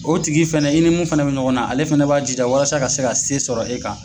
O tigi fɛnɛ i ni min fɛnɛ bɛ ɲɔgɔn na ale fɛnɛ b'a jija walasa ka se ka se sɔrɔ e kan.